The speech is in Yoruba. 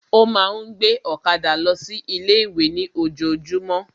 Ó ma ń gbé ọ̀kadà lọ sí ilé ìwé ní ojojúmọ́